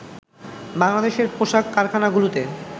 বাংলাদেশের পোশাক কারখানাগুলোতে